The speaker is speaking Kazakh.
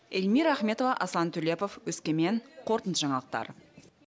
эльмира ахметова аслан төлепов өскемен қорытынды жаңалықтар